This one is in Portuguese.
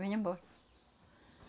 Vinha embora.